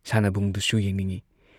ꯁꯥꯟꯅꯕꯨꯡꯗꯨꯁꯨ ꯌꯦꯡꯅꯤꯡꯢ꯫